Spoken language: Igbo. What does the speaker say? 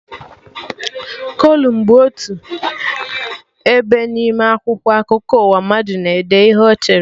Kolum bụ otu ebe n'ime akwụkwọ akụkọ ụwa, mmadụ na-ede ihe Ọ chere